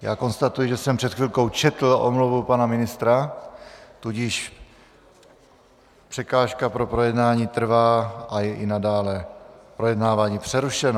Já konstatuji, že jsem před chvilkou četl omluvu pana ministra, tudíž překážka pro projednání trvá a je i nadále projednávání přerušeno.